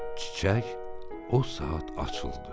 Çiçək o saat açıldı.